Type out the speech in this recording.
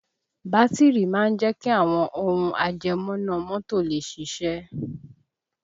Bátìrì máa ń jẹ́ kí àwọn ohùn ajẹmọ́ná mọ́tò lè ṣiṣẹ́